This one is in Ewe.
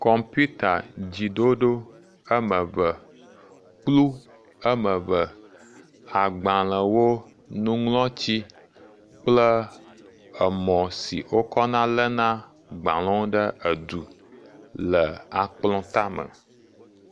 Kɔmpiuta dziɖoɖo ame ve, kplu am eve, agbalẽwo, nuŋlɔtsi kple emɔ si wo kɔna léna gbalẽwo ɖe du le akplɔ̃ tame.